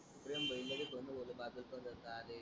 प्रेम भई लगेच कोण बोल बातच बघत राहते.